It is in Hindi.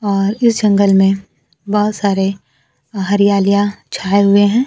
और इस जंगल में बहोत सारे हरियालियां छाए हुए हैं।